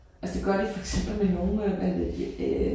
Altså det gør de for eksempel med nogle af øh